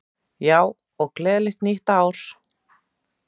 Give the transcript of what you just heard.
Já, og gleðilegt nýtt ár!